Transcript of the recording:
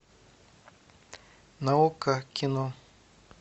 на окко кино